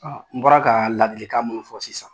An bɔra ka ladilikan mun fɔ sisan